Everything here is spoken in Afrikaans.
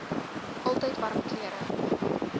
altyd warm klere